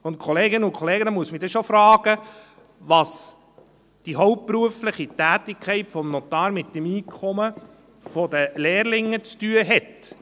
Da muss ich mich dann schon fragen, was die hauptberufliche Tätigkeit des Notars mit dem Einkommen der Lehrlinge zu tun hat.